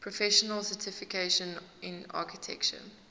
professional certification in architecture